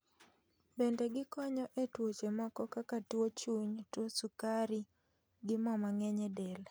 Bende gikonyo e tuoche moko kaka tuo chuny, tuo sukari gi mo mang'eny e del